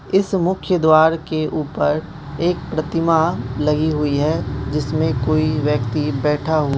इस मुख्य द्वार के ऊपर एक प्रतिमा लगी हुई है जिसमें कोई व्यक्ति बैठा हु --